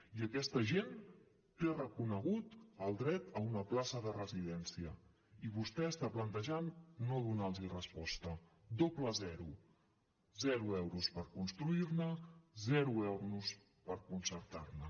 i aquesta gent té reconegut el dret a una plaça de residència i vostè està plantejant no donar los resposta doble zero zero euros per construir ne zero euros per concertar ne